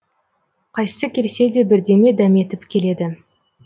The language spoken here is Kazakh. қайсысы келсе де бірдеме дәметіп келеді